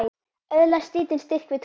Öðlast lítinn styrk við trúna.